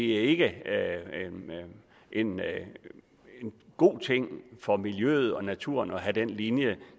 ikke er en god ting for miljøet og naturen at have den linje